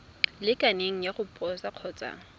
lekaneng ya go posa kgotsa